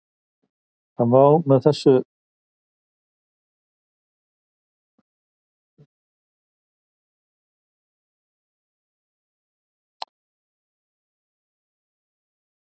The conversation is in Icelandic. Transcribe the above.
Segja má að með þessu missi maður fótfestuna og hrapi stjórnlaust.